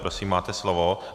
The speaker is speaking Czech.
Prosím, máte slovo.